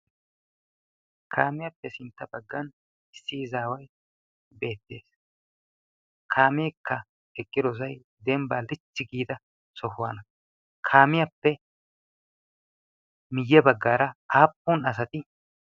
kaamiyaappe sintta baggan issiizaawai beettees kaameekka eqqirosai denbba lichchi giida sohuwaana kaamiyaappe miyye baggaara aappun asati?